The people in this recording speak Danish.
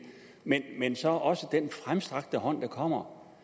men men så også til den fremstrakte hånd der kommer